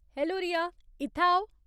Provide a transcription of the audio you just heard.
Hello Riya, इत्थै आओ।